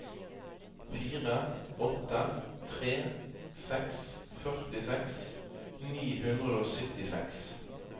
fire åtte tre seks førtiseks ni hundre og syttiseks